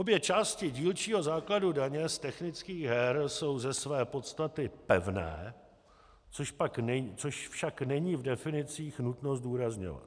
Obě části dílčího základu daně z technických her jsou ze své podstaty pevné, což však není v definicích nutno zdůrazňovat.